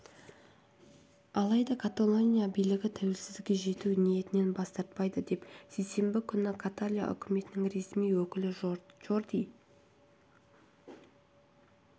алайда каталония билігі тәуелсіздікке жету ниетінен бас тартпайды деп сейсенбі күні каталия үкіметінің ресми өкілі жорди